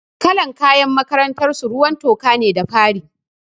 Kalar kayan makarantar su ruwan toka ne da fari.